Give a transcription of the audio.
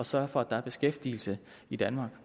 sørge for at der er beskæftigelse i danmark